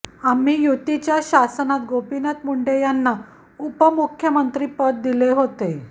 आम्ही युतीच्या शासनात गोपीनाथ मुंडे यांना उपमुख्यमंत्रीपद दिले होते